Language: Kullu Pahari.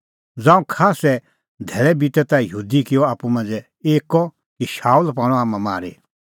ज़ांऊं खास्सै धैल़ै बितै ता यहूदी किअ आप्पू मांझ़ै एक्कअ कि शाऊल पाणअ हाम्हां मारी